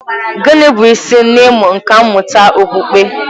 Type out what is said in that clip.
Gịnị bụ isi n'ịmụ nkà mmụta okpukpe?